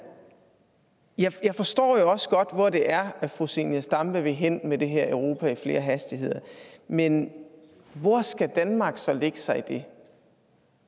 jeg så jeg forstår jo også godt hvor det er fru zenia stampe vil hen med det her europa i flere hastigheder men hvor skal danmark så lægge sig i det